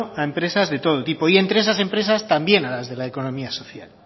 a empresas de todo tipo y entre esas empresas también a las de la economía social